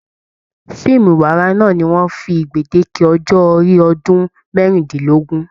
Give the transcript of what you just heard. Fíìmù ìwárà náà ní wọn fí gbedeke ọjọ orí ọdún merindinlogun.